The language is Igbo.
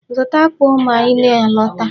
Zụta akpụ ma ị na-alọta.